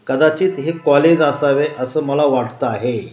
कदाचित हे कॉलेज असावे असं मला वाटत आहे.